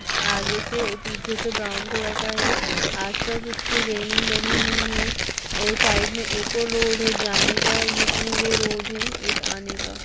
आगे से और पीछे से ब्राउन कलर का है आसपास उसके रेलिंग बनी हुई है और साइड में एक और रोड है जाने का ये टू वे रोड है एक आने का --